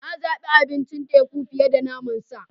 Na zabi abincin teku fiye da naman sa.